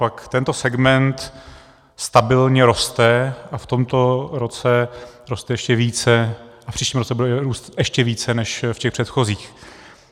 Naopak, tento segment stabilně roste a v tomto roce roste ještě více a v příštím roce bude růst ještě více než v těch předchozích.